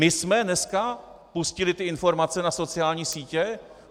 My jsme dneska pustili TY informace na sociální sítě?